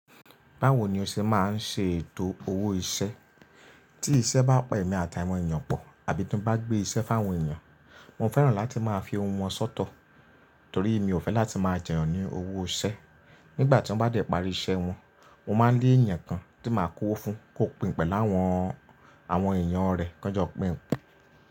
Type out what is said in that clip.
Báwo ni o ṣe máa ń ṣe ètò owó iṣẹ́? Tí iṣẹ́ bá pa emi àtàwọn èèyàn pọ̀ àbí tí mo bá gbé iṣẹ́ fún àwọn èèyàn, mo fẹ́ràn láti máa fi owó wọn sọ́tọ̀ torí mi ò fẹ́ láti máa jẹyàn ní owó iṣẹ́. Nígbà tí wọ́n bá dẹ̀ parí iṣẹ́ wọn, mo máa ń ni èèyàn kan tí màá kó owó fún kó pín pẹ̀lú àwọn, àwọn èèyàn rẹ̀ kánjọ pín.